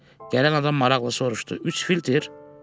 Gələn adam maraqlı soruşdu: "Üç filtr?"